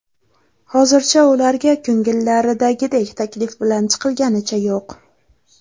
Hozircha ularga ko‘ngillaridagidek taklif bilan chiqilganicha yo‘q.